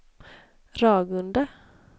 Ragunda